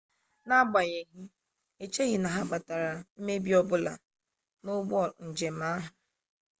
n'agbanyegghị echeghị na ha kpatara mmebi ọ bụla n'ụgbọ njem ahụ